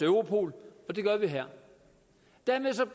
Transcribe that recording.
europol og det gør vi her dermed tager